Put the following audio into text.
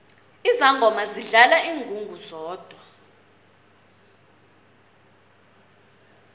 izangoma zidlala ingungu zodwa